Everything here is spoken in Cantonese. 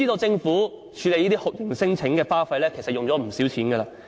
政府處理這些酷刑聲請的花費，其實不少。